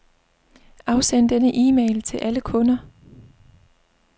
Afsend denne e-mail til alle kunder.